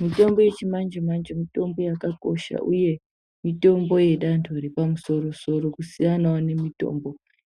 Mitombo yechimanje-manje mitombo yakakosha uye mitombo yedando repamusoro-sor, kusiyanawo nemitombo